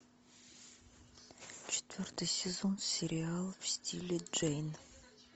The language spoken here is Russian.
четвертый сезон сериал в стиле джейн